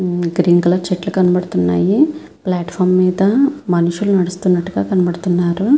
Green colour చెట్లు కనబడుతూ వున్నాయ్ ఫ్లాట్ఫారం అంత మనుషుల్లు నడుస్తునటు గా కనబడుతూవున్నారు.